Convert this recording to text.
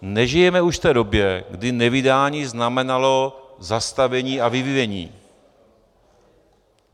Nežijeme už v té době, kdy nevydání znamenalo zastavení a vyvinění.